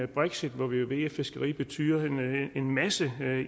brexit hvor vi ved at fiskeri betyder en masse